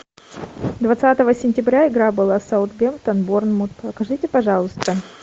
двадцатого сентября игра была саутгемптон борнмут покажите пожалуйста